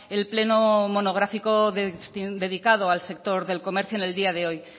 el pleno monográfico dedicado al sector del comercio en el día de hoy